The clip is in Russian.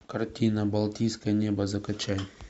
картина балтийское небо закачай